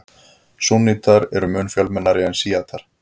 Súnnítar eru mun fjölmennari en sjítar.